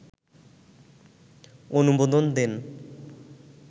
অনুমোদন দেন